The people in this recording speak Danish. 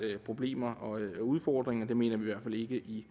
problemer og udfordringer det mener vi i